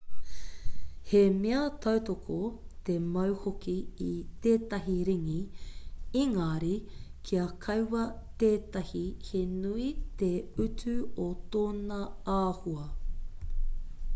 he mea tautoko te mau hoki i tētahi ringi engari kia kaua tētahi he nui te utu o tōna āhua